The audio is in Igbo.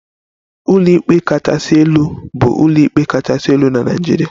Ụlọikpe kachasị elu bụ ụlọikpe kachasị elu na Naịjirịa